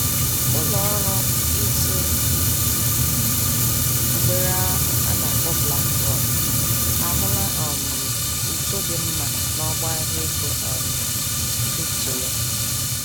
Ụlọọrụ ịtụ mgbere ahụ, ana-kpọ BlackRock, ahụla um uto dị mma n'ọgbọ-ahịa ego um kripto ya.